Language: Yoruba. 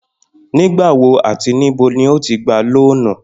Nígbà wo àti níbo ni o ti gba lóònù?